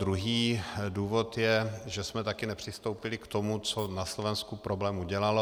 Druhý důvod je, že jsme taky nepřistoupili k tomu, co na Slovensku problém udělalo.